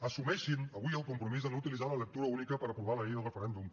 assumeixin avui el compromís de no utilitzar la lectura única per aprovar la llei del referèndum